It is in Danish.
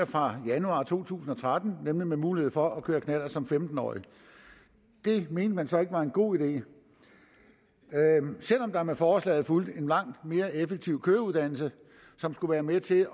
fra januar to tusind og tretten nemlig ved mulighed for at køre knallert som femten årig det mente man så ikke var en god idé selv om der med forslaget fulgte en langt mere effektiv køreuddannelse som skulle være med til